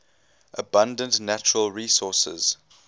abundant natural resources